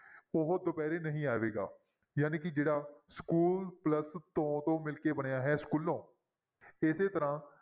ਉਹ ਦੁਪਹਿਰੇ ਨਹੀਂ ਆਵੇਗਾ ਜਾਣੀ ਕਿ ਜਿਹੜਾ school plus ਤੋਂ ਤੋਂ ਮਿਲ ਕੇ ਬਣਿਆ ਹੈ ਸਕੂਲੋਂ, ਇਸੇ ਤਰ੍ਹਾਂ